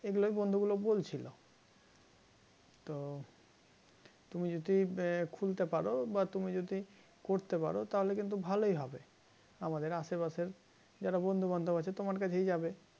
এগুলোই বন্ধুগুলো বলছিল তো তুমি যদি খুলতে পারো বা তুমি যদি করতে পারো তাহলে কিন্তু ভালই হবে আমাদের আশেপাশের যারা বন্ধুবান্ধব আছে তোমার কাছেই যাবে